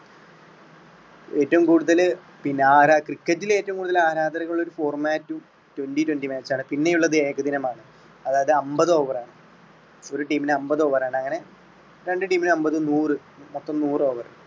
ഏറ്റവും കൂടുതല് പിന്നെ ആരാ cricket റ്റിൽ ഏറ്റവും കൂടുതൽ ആരാധകരുള്ള format twenty twenty match ആണ് പിന്നെ ഉള്ളത് ഏകദിനമാണ് അതായത് അമ്പത് over ആണ് ഒരു team മിന് അമ്പത് over ആണ് അങ്ങനെ രണ്ട് team മിന് അമ്പത് നൂറ് അപ്പൊ നൂറ് over.